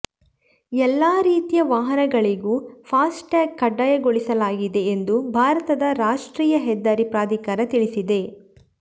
ಎಲ್ಲ ರೀತಿಯ ವಾಹನಗಳಿಗೂ ಫಾಸ್ಟ್ಯಾಗ್ ಕಡ್ಡಾಯಗೊಳಿಸಲಾಗಿದೆ ಎಂದು ಭಾರತದ ರಾಷ್ಟ್ರೀಯ ಹೆದ್ದಾರಿ ಪ್ರಾಧಿಕಾರ ತಿಳಿಸಿದೆ